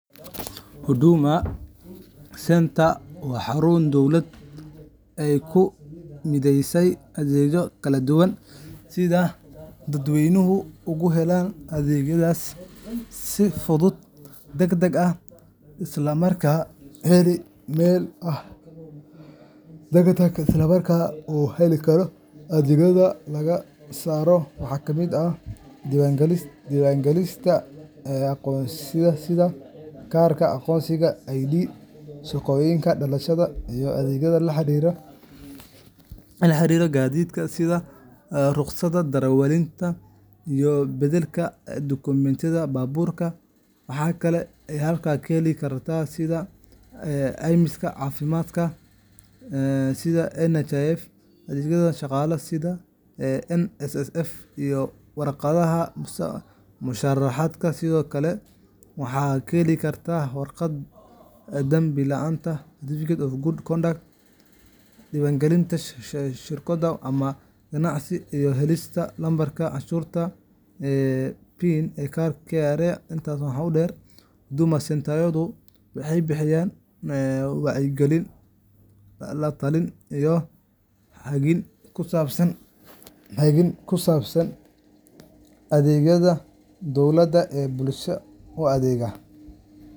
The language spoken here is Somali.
Huduma Centre waa xarun dowladda ay ku mideysay adeegyo kala duwan si dadweynuhu ugu helaan adeegyadaas si fudud, degdeg ah, isla markaana hal meel ah. Adeegyada laga heli karo waxaa ka mid ah diiwaangelinta aqoonsiyada sida kaarka aqoonsiga ID, shahaadada dhalashada, iyo adeegyada la xiriira gaadiidka sida ruqsadda darawalnimada iyo beddelka dukumentiyada baabuurta. Waxa kale oo halkaas laga heli karaa adeegyada caymiska caafimaadka sida NHIF, adeegyada shaqaalaha sida NSSF, iyo warqadaha mushaharka. Sidoo kale, waxaa laga heli karaa warqadda dambi-la’aanta certificate of good conduct, diiwaangelinta shirkado ama ganacsiyo, iyo helista lambarka canshuur bixiyaha PIN ee KRA. Intaas waxaa dheer, Huduma Centre-yadu waxay bixiyaan wacyigelin, la-talin, iyo hagid ku saabsan adeegyada dowladda ee bulshada u adeega.